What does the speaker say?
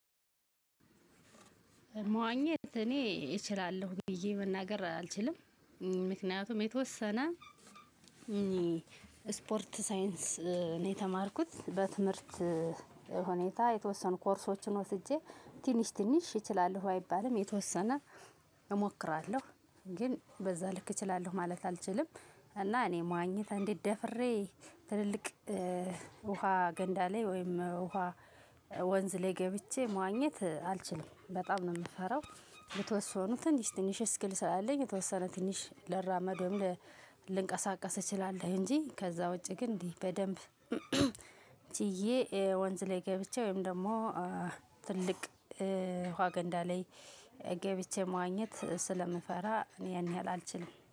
መዋኘት እኔ እችላለሁ ብዬ መናገር አልችልም። ምክንያቱም የተወሰነ እኔ ስፖርት ሳይንስ ነው የተማርኩት በትምህርት ሁኔታ የተወሰኑ ኮርሶችን ወስጄ ትንሽ ትንሽ እችላለሁ። አይባልም የተወሰነ እሞክራለሁ ግን በዛ ልክ እችላለሁ ማለት አልችልም። እና እኔ መዋኘት እንዲህ ደፍሬ ትልልቅ ውሃ ገንዳ ላይ ወይም ውሃ ወንዝ ላይ ገብቼ መዋኘት አልችልም በጣም ነው የምፈራው። በተወሰነ ትንሽ ትንሽ ስኪል ስላለኝ የተወሰነ ትንሽ ልራመድ ወይም ልንቀሳቀስ እችላለሁ። እንጂ ከዛ ውጪ ግን እንዲህ በደንብ ችዬ ወንዝ ላይ ገብቼ ወይም ደግሞ ትልቅ ውሃ ገንዳ ላይ ገብቼ መዋኘት ስለምፈራ ያን ያህል አልችልም